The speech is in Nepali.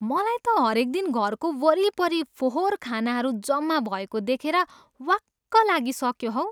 मलाई त हरेक दिन घरको वरिपरि फोहोर खानाहरू जम्मा भएको देखेर वाक्क लागिसक्यो हौ।